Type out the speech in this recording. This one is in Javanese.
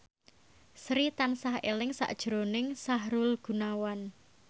Sri tansah eling sakjroning Sahrul Gunawan